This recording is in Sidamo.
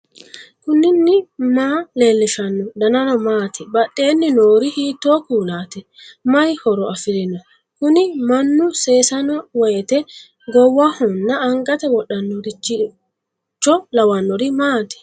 knuni maa leellishanno ? danano maati ? badheenni noori hiitto kuulaati ? mayi horo afirino ? kuni mannu seesanno woyte goowahonna angate wodhannoricho lawannorin maati